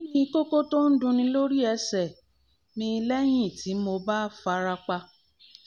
kí ni koko to n dunní lórí ẹsẹ̀ mi lẹ́yìn tí mo bá fara pa?